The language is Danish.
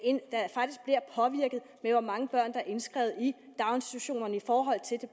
hvor mange børn der er indskrevet i daginstitutionerne i forhold til det